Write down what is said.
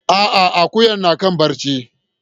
A'a, akuyan na kan barci.